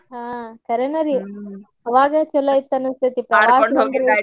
ಹ್ಮ್ ಕರೇನ ರೀ ಆವಾಗ್ ಚುಲೊ ಇತ್ತ ಅನಿಸ್ತೇತ್ರಿ